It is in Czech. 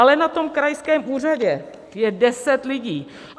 Ale na tom krajském úřadě je deset lidí.